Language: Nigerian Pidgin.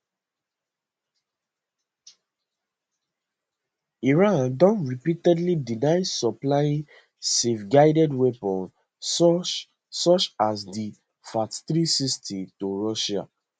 iran don repeatedly deny supplying selfguided weapons such such as di fath360 to russia